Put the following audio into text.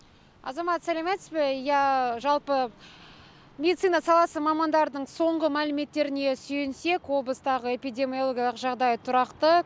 азамат сәлеметсіз бе иә жалпы медицина саласы мамандарының соңғы мәліметтеріне сүйенсек облыстағы эпидемиологиялық жағдай тұрақты